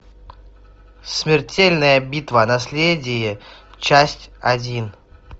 смертельная битва наследие часть один